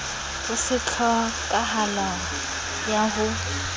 ho se tlhokahalo ya ho